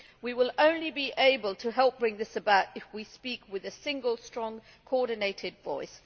We will be able to help bring this about only if we speak with a single, strong, coordinated voice.